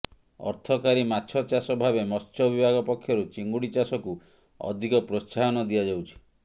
ଅର୍ଥକାରୀ ମାଛ ଚାଷ ଭାବେ ମତ୍ସ୍ୟ ବିଭାଗ ପକ୍ଷରୁ ଚିଙ୍ଗୁଡି ଚାଷକୁ ଅଧିକ ପ୍ରୋତ୍ସାହନ ଦିଆଯାଉଛି